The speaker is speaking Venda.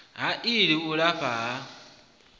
ha ii u lafha ha